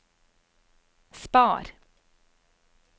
spar